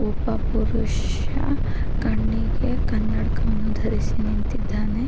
ಒಬ್ಬ ಪುರುಷ ಕಣ್ಣಿಗೆ ಕನ್ನಡಕವನ್ನು ಧರಿಸಿ ನಿಂತಿದ್ದಾನೆ.